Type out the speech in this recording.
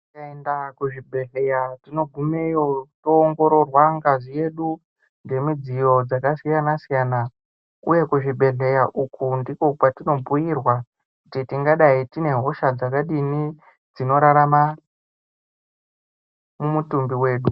Kaenda kuzvibhedhleya tinogumeyo toongororwa ngazi yedu ngemidziyo dzakasiyana-siyana. Uye kuzvibhedhleya uku ndiko kwatinobhuirwa kuti tingadai tiinehosha dzakadini dzinorarama mumutumbi wedu.